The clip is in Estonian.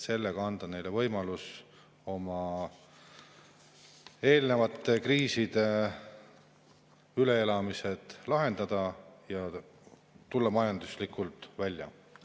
Sellega anname neile võimaluse oma eelnevate kriiside üleelamised lahendada ja tulla sellest kõigest majanduslikult välja.